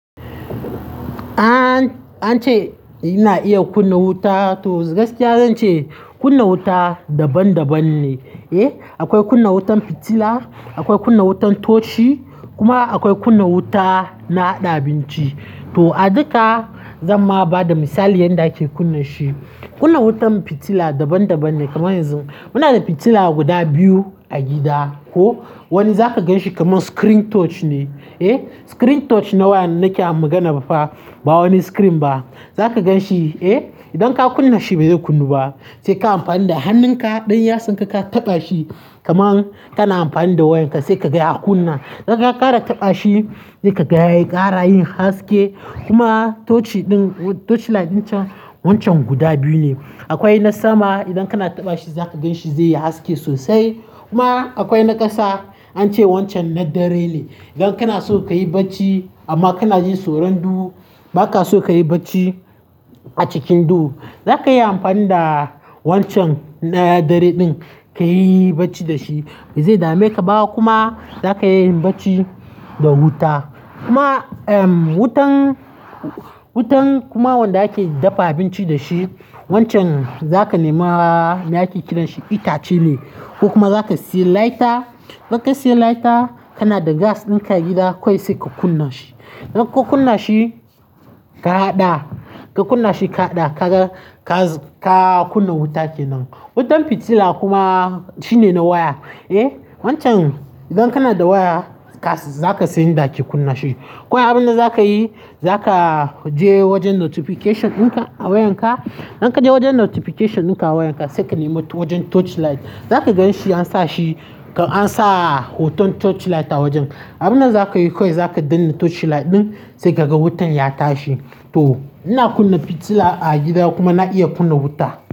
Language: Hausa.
An-ance ina iya kunna wuta, to gaskiya zance kunna wuta daban daban ne, eh? Akwai kunna wutan fitila, akwai kunna wutan toshi kuma akwai kunna wuta na haɗa abinci. To a duka zan ma ba da misali yanda ake kunna shi. Kunna wutan fitila daban daban ne kamar yanzu muna da fitila guda biyu a gida ko wani zaka gan shi kamar screen touch ne, eh? Screen touch nawaya nake magana ba wani screen ba. Zaka gan shi, eh? Idan ka kunna shi bai zai kunnu ba sai ka amfani da hannunka ɗan yatsan ka, ka taɓa shi kaman kana amfani da wayan ka sai ka ga ya kunna. Idan ka ƙara taɓa shi sai ka gaya ƙara yin haske kuma toshi din toshi light din can wancan guda biyu ne. Akwai na sama idan kana taɓa shi zaka gan shi zai yi haske sosai kuma akwai na ƙasa an ce wancan na dare ne. Idan kana so kayi bacci amma kana jin tsoron duhu ba ka so kayi bacci a cikin duhu, za ka yi amfani da wancan na dare din ka yi bacci da shi ba zai dame ka ba kuma zaka iya yin bacci da wuta. Kuma, ehm, wutan, wutan kuma wanda ake dafa abinci da shi wancan za ka nema me ake kiranshi itace ne. Ko kuma za ka siya lighter, idan ka siya lighter kana da gas ɗin ka gida kawai sai ka kunna shi. Idan ka kunna shi ka haɗa, ka kunna shi ka haɗa ka ga ka kunna wuta kenan. Wutan fitila kuma shine na waya, eh? Wancan idan kana da waya za ka san yadda ake kunna shi. Ko wai abin da za ka yi, za ka je wajen notification ɗin ka a wayan ka. Idan ka je wajen notification ɗin ka a wayan ka sai ka nema wajen touch light, za ka gan shi ansa shi ka ansa hoton touch light a wajen. Abin da za ka yi kawai za ka danne touch light ɗin sai gaga wutan ya tashi. To ina kunna fitila a gida kuma na iya kunna wuta.